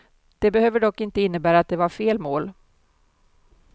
Det behöver dock inte innebära att det var fel mål.